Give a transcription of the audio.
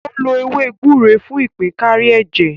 Ó lo ewé gbúre fún ìpín kárí ẹ̀jẹ̀.